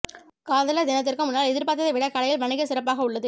காதலர் தினத்திற்கு முன்னால் எதிர்பார்த்ததை விடக் கடையில் வணிக சிறப்பாக உள்ளது